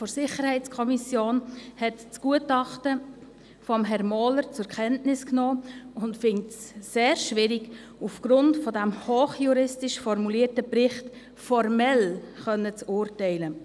Die Minderheit der SiK hat das Gutachten von Herrn Mohler zur Kenntnis genommen und empfindet es als sehr schwierig, aufgrund dieses hochjuristisch formulierten Berichts formell urteilen zu können.